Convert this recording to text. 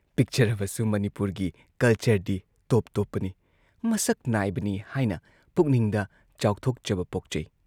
ꯄꯤꯛꯆꯔꯕꯁꯨ ꯃꯅꯤꯄꯨꯔꯒꯤ ꯀꯜꯆꯔꯗꯤ ꯇꯣꯞ ꯇꯣꯞꯄꯅꯤ, ꯃꯁꯛ ꯅꯥꯏꯕꯅꯤ ꯍꯥꯏꯅ ꯄꯨꯛꯅꯤꯡꯗ ꯆꯥꯎꯊꯣꯛꯆꯕ ꯄꯣꯛꯆꯩ ꯫